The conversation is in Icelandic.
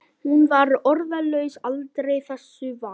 Hún var orðlaus aldrei þessu vant.